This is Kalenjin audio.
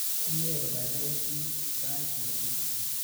Mye kopaipait chi sait ake tukul